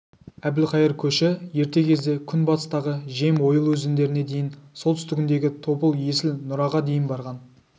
әбілқайыр көші ерте кезде күнбатыстағы жем ойыл өзендеріне дейін солтүстігіндегі тобыл есіл нұраға дейін барған